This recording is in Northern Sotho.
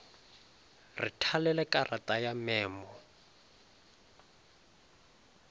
re thalele karata ya memo